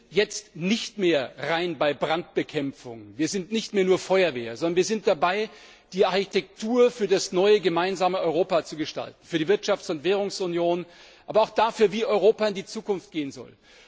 Wir sind jetzt nicht mehr nur bei der Brandbekämpfung, wir sind nicht mehr nur Feuerwehr, sondern wir sind dabei, die Architektur für das neue gemeinsame Europa zu gestalten, für die Wirtschafts und Währungsunion, aber auch dafür, wie Europa in die Zukunft gehen soll.